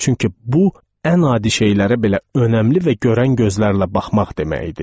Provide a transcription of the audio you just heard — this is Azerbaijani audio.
Çünki bu ən adi şeylərə belə önəmli və görən gözlərlə baxmaq demək idi.